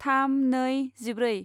थाम नै जिब्रै